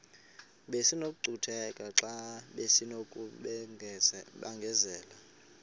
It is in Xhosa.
besinokucutheka xa besinokubenzela